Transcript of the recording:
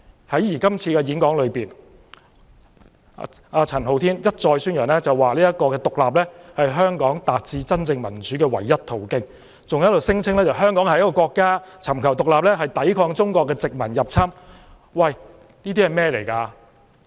在演講中，陳浩天一再宣揚獨立是香港達致真正民主的唯一途徑，還聲稱香港是一個國家，尋求獨立是抵抗中國殖民入侵。